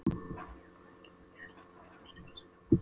Ég gef nú ekki mikið fyrir þennan fararstjóra, segir pabbi.